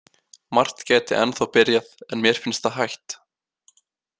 Margt gæti ennþá byrjað, en mér finnst það hætt.